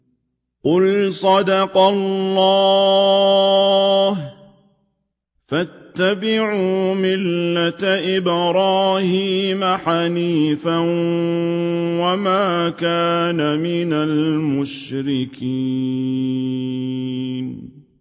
قُلْ صَدَقَ اللَّهُ ۗ فَاتَّبِعُوا مِلَّةَ إِبْرَاهِيمَ حَنِيفًا وَمَا كَانَ مِنَ الْمُشْرِكِينَ